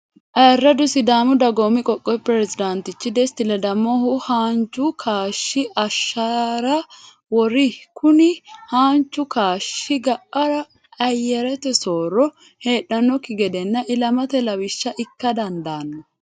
Ayiradu sidaamu dagoomi qoqowi perezidaanitichi desti ledamohu haanju kaashi ashaara wori, kuni haanju kaashi ga'ara ayerete sooro heedhanokki gedenna ilamate lawisha ikka dandano